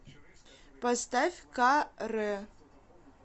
поставь ка рэ